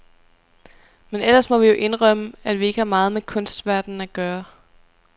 Men ellers må vi jo indrømme, at vi ikke har meget med kunstverdenen at gøre.